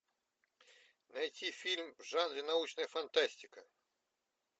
найти фильм в жанре научная фантастика